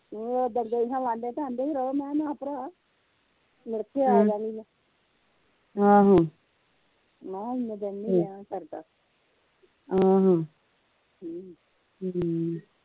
ਮੈ ਓਦਣ ਗਈ ਹਾ ਵਾਂਢੇ ਤੇ ਆਂਦੇ ਹੀ ਰਹੋ ਮੈ ਕਿਹਿਆ ਨਾ ਭਰਾ ਮੁੜਕੇ ਆ ਮੈ ਕਿਹਿਆ ਇਹਨੇ ਦਿਨ ਨਹੀਂ ਰਹਿਆ ਸਰਦਾ ਹਮ